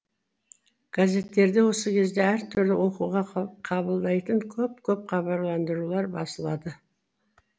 газеттерде осы кезде әр түрлі оқуға қабылдайтын көп көп хабарландырулар басылады